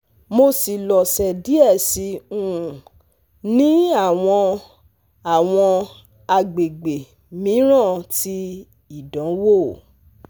Mo si loso die si um ni awọn awọn agbegbe miiran ti idanwo